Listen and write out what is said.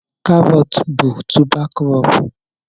carrots bụ tubá krobú